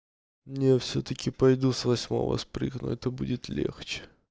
я всё-таки пойду с восьмого спрыгну это будет легче